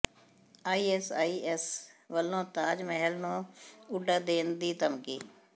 I S I S ਵੱਲੋਂ ਤਾਜ ਮਹੱਲ ਨੂੰ ਉਡਾ ਦੇਣ ਦੀ ਧਮਕੀ